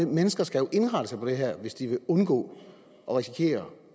mennesker skal indrette sig på det her hvis de vil undgå at risikere